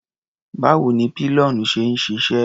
Báwo ni pillion ṣe ń ṣiṣẹ́?